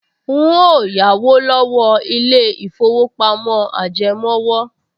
N óò yáwó lọ́wọ́ ilé-ìfowópamọ́ ajẹmówò